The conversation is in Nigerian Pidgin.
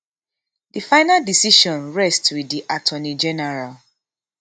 di final decision rest wit di attorney general